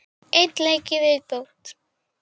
Einn leik í viðbót.